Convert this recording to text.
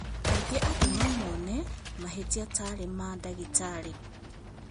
Na kaingĩ andũ no mone mahĩtia tarĩ ma ndagĩtarĩ